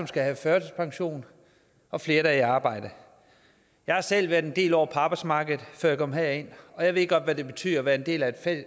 skal have førtidspension og flere der er i arbejde jeg har selv været en del år på arbejdsmarkedet før jeg kom herind og jeg ved godt hvad det betyder at være en del af